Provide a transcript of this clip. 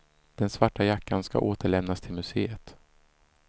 Den svarta jackan ska återlämnas till museet.